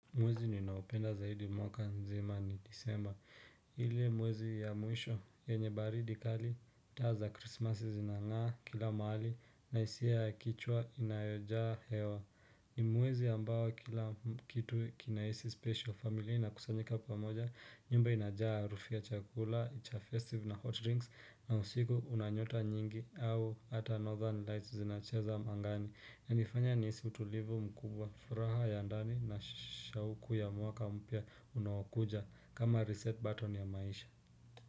Mwezi niinaopenda zaidi mwaka mzima ni disemba. Ile mwezi ya mwisho yenye baridi kali. Taa za krisimasi zinangaa kila mahali na hisia ya kichwa inayojaa hewa. Ni mwezi ambao kila kitu kinahisi special familia inakusanyika pamoja. Nyumba inajaa harufu ya chakula, cha festive na hot drinks na usiku una nyota nyingi au ata northern lights zinacheza angani. Unanifanya nihisi utulivu mkubwa furaha ya ndani na shauku ya mwaka mpya unaokuja kama reset button ya maisha.